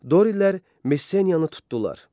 Dorilər Messeniyanı tutdular.